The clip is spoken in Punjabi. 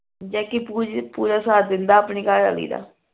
jackie ਪੂਰੀ ਪੂਰਾ ਸਾਥ ਦਿੰਦਾ ਆਪਣੀ ਘਰਵਾਲੀ ਦਾ